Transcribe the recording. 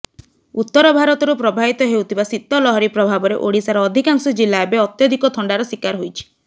ଉତ୍ତରଭାରତରୁ ପ୍ରବାହିତ ହେଉଥିବା ଶୀତ ଲହରୀ ପ୍ରଭାବରେ ଓଡ଼ିଶାର ଅଧିକାଂଶ ଜିଲ୍ଲା ଏବେ ଅତ୍ୟଧିକ ଥଣ୍ଡାର ଶିକାର ହୋଇଛି